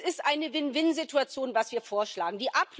Es ist eine Win Win Situation, was wir vorschlagen.